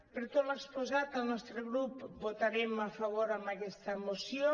per tot l’exposat el nostre grup votarem a favor amb aquesta moció